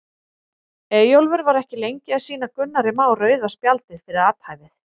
Eyjólfur var ekki lengi að sýna Gunnari Má rauða spjaldið fyrir athæfið.